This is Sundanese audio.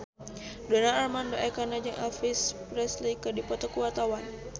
Donar Armando Ekana jeung Elvis Presley keur dipoto ku wartawan